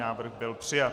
Návrh byl přijat.